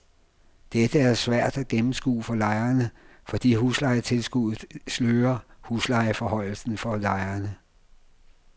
Dette er svært at gennemskue for lejerne, fordi huslejetilskuddet slører huslejeforhøjelsen for lejerne.